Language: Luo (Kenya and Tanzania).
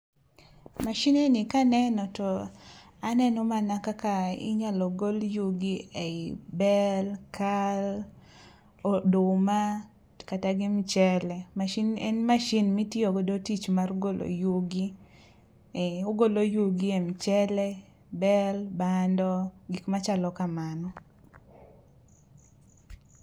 Machine ni kaneno to aneno mana kaka inyalo gol yugi e i bel, kal, oduma, kata gi michele. Machine ni en [r]machine[r] maitiyo go e golo yugi , ee ogolo yugi e mchele, bel, bando gik machalo kamago.